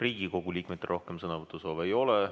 Riigikogu liikmetel rohkem sõnavõtusoove ei ole.